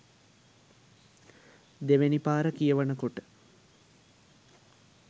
දෙවැනි පාර කියවන කොට